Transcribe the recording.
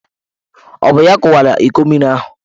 Ọ bụ ya kụwara iko mmiri ahụ?